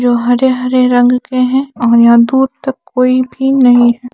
जो हरे हरे रंग के है और यहां दूर तक कोई भी नहीं है।